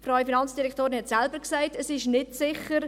Die Frau Finanzdirektorin hat selber gesagt, es sei nicht sicher.